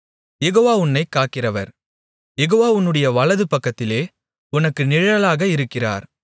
யெகோவா உன்னைக் காக்கிறவர் யெகோவா உன்னுடைய வலது பக்கத்திலே உனக்கு நிழலாக இருக்கிறார்